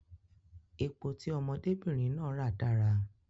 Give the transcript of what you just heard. Epo tí ọmọdé bìnrin náà ra dára